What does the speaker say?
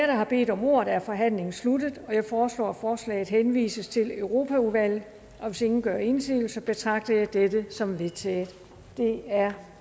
der har bedt om ordet er forhandlingen sluttet jeg foreslår at forslaget henvises til europaudvalget og hvis ingen gør indsigelse betragter jeg dette som vedtaget det er